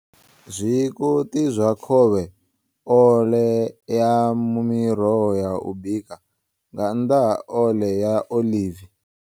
Zwikoṱi zwa khovhe Ole ya miroho ya u bika, nga nnḓa ha ole ya oḽivi.